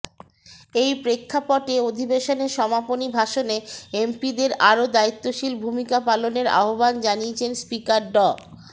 এই প্রেক্ষাপটে অধিবেশনের সমাপনী ভাষণে এমপিদের আরো দায়িত্বশীল ভূমিকা পালনের আহ্বান জানিয়েছেন স্পিকার ড